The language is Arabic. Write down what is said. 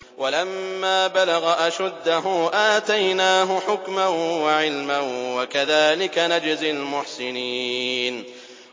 وَلَمَّا بَلَغَ أَشُدَّهُ آتَيْنَاهُ حُكْمًا وَعِلْمًا ۚ وَكَذَٰلِكَ نَجْزِي الْمُحْسِنِينَ